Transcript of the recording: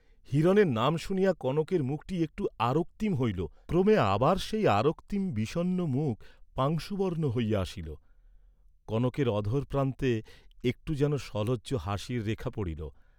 হিরণের নাম শুনিয়া কনকের মুখটী একটু আরক্তিম হইল, ক্রমে আবার সেই আরক্তিম বিষণ্ণ মুখ পাংশুবর্ণ হইয়া আসিল, কনকের অধর প্রান্তে একটু যেন সলজ্জ হাসির রেখা পড়িল।